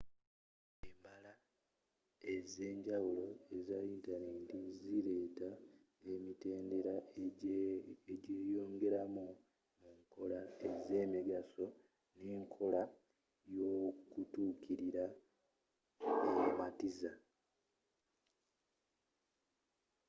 embala ez'enjawulo eza yintaneti ziletela emitendera egyeyongeramu mu nkola ez'emigaso ne nkola y'okutukilira ematiza